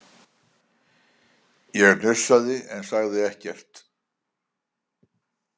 Ég hnussaði en sagði ekkert.